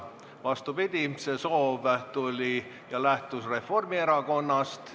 Vastupidi, see soov tuli ja lähtus Reformierakonnast.